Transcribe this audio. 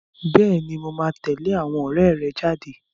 Bẹ́ẹ̀ni, mo máa tẹ̀lé àwọn ọ̀rẹ́ rẹ jáde.